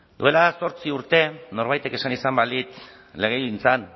duela zortzi urte norbaitek esan izan balitz legegintzan